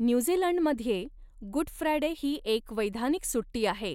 न्यूझीलंडमध्ये, Good Friday ही एक वैधानिक सुट्टी आहे